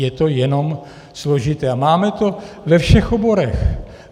Je to jenom složité a máme to ve všech oborech.